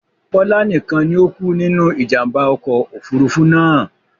Bọlá nikan ni o kú nínú ìjàmbá ọkọ̀ Òfurufú náà.